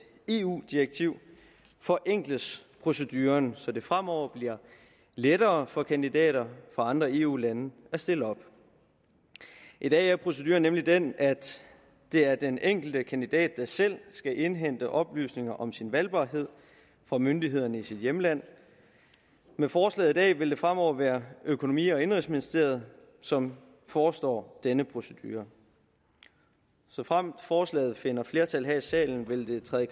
eu direktiv forenkles proceduren så det fremover bliver lettere for kandidater fra andre eu lande at stille op i dag er proceduren nemlig den at det er den enkelte kandidat der selv skal indhente oplysninger om sin valgbarhed fra myndighederne i sit hjemland med forslaget i dag vil det fremover være økonomi og indenrigsministeriet som forestår denne procedure såfremt forslaget finder flertal her i salen vil det træde i